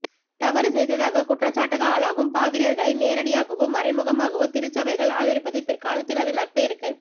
தவறு செய்ததாக குற்றச்சாட்டுக்கு ஆளாகும் பாதிரியார்களை நேரடியாகவோ மறைமுகமாகவோ திருச்சபைகள் ஆதரிப்பது பிற்காலத்தில் அதன் நற்பெயருக்கு